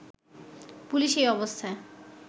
police এই অবস্থায়